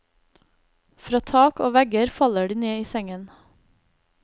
Fra tak og vegger faller de ned i sengen.